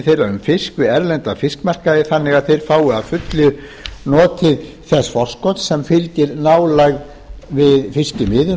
þeirra um fisk við erlenda fiskmarkaði þannig að þeir fái að fullu notið þess forskots sem fylgir nálægð við fiskimiðin